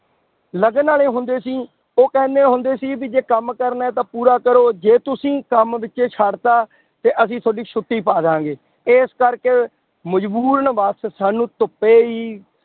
ਲਗਨ ਵਾਲੇ ਹੁੰਦੇ ਸੀ, ਉਹ ਕਹਿੰਦੇ ਹੁੰਦੇ ਸੀ ਵੀ ਜੇ ਕੰਮ ਕਰਨਾ ਹੈ ਤਾਂ ਪੂਰਾ ਕਰੋ ਜੇ ਤੁਸੀਂ ਕੰਮ ਵਿੱਚੇ ਛੱਡ ਦਿੱਤਾ ਤੇ ਅਸੀਂ ਤੁਹਾਡੀ ਛੁੱਟੀ ਪਾ ਦੇਵਾਂਗੇ, ਇਸ ਕਰਕੇ ਮਜ਼ਬੂਰਨ ਬਸ ਸਾਨੂੰ ਧੁੱਪੇ ਹੀ